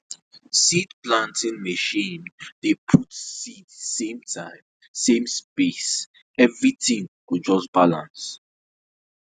seed planting machine dey put seed same time and same space and same space everything go just balance